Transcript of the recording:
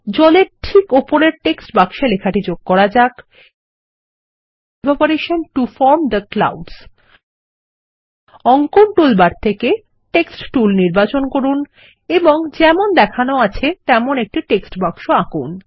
জলের ঠিক উপরে টেক্সট বাক্সে লেখাটি যোগ করা যাক evaporation to form the clouds অঙ্কন টুলবার থেকে টেক্সট টুল নির্বাচন করুন এবং যেমন দেখানো আছে তেমন একটি টেক্সট বাক্স আঁকুন